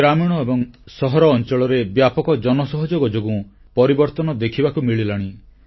ଗ୍ରାମୀଣ ଏବଂ ସହର ଅଂଚଳରେ ବ୍ୟାପକ ଜନସହଯୋଗ ଯୋଗୁଁ ପରିବର୍ତ୍ତନ ଦେଖିବାକୁ ମିଳିଲାଣି